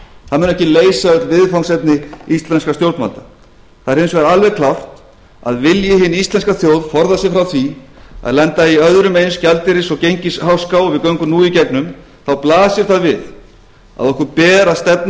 það mun ekki leysa öll viðfangsefni íslenskra stjórnvalda það er hins vegar alveg klárt að vilji hin íslenska þjóð forða sér frá því að lenda í öðrum eins gjaldeyris og gengisháska og við göngum nú í gegnum þá blasir það við að okkur ber að stefna